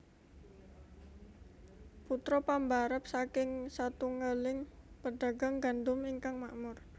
Putra pambarep saking satunggaling pedagang gandum ingkang makmur